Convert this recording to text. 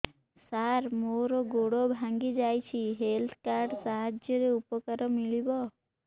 ସାର ମୋର ଗୋଡ଼ ଭାଙ୍ଗି ଯାଇଛି ହେଲ୍ଥ କାର୍ଡ ସାହାଯ୍ୟରେ ଉପକାର ମିଳିବ